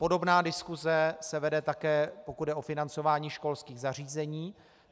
Podobná diskuse se vede také, pokud jde o financování školských zařízení.